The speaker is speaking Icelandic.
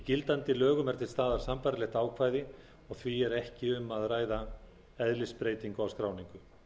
gildandi lögum er til staðar sambærilegt ákvæði og því er ekki um að ræða eðlisbreytingu á skráningu